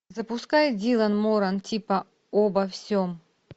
запускай дилан моран типа обо всем